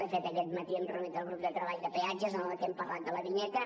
de fet aquest matí hem reunit el grup de treball de peatges en el que hem parlat de la vinyeta